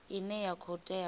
ine ya khou tea u